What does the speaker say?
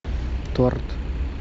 торт